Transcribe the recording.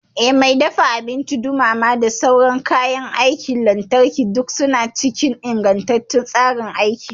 Eh, Mai dafa abinci, dumama da sauran kayan aikin lantarki duk suna cikin ingantacciyar tsarin aiki.